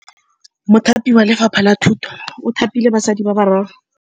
Mothapi wa Lefapha la Thutô o thapile basadi ba ba raro.